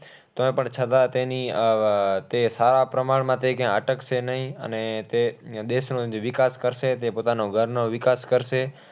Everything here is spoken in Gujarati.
તો પણ છતાં તેની આહ તે સારા પ્રમાણમાં તે ક્યાંય અટકશે નહીં અને તે દેશનો જ વિકાસ કરશે. તે પોતાના ઘરનો વિકાસ કરશે.